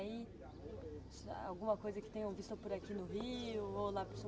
Alguma coisa que tenham visto por aqui no Rio ou lá